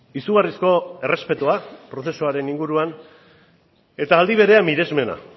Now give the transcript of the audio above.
izugarrizko errespetua prozesuaren inguruan eta aldi berean miresmena